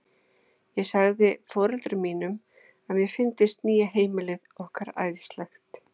Ég sagði foreldrum mínum að mér fyndist nýja heimilið okkar æðislegt.